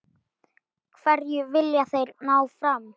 Hverju vilja þeir ná fram?